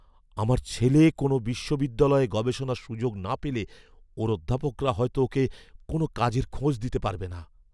আমার ছেলে কোনও বিশ্ববিদ্যালয়ে গবেষণার সুযোগ না পেলে, ওর অধ্যাপকরা হয়তো ওকে কোনও কাজের খোঁজ দিতে পারবে না।